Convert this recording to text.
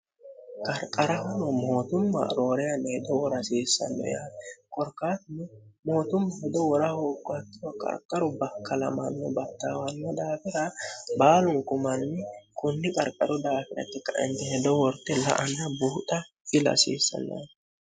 qarqara huro mootumma rooreyaneedowo rasiissanno yaan korkaatni mootumma hido wora hooggotto qarqaru bakkalamanno battaawanno daafira baalunkumanni kunni qarqaru daafiratti kintihedo worte la ana buuxa ilasiissannoni